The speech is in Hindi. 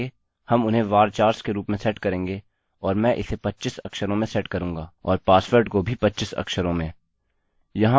आगे हम उन्हें varchars के रूप में सेट करेंगे और मैं इसे 25 अक्षरों में सेट करूँगा और पासवर्ड को भी 25 अक्षरों में